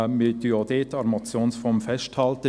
Wir halten auch dort an der Motionsform fest.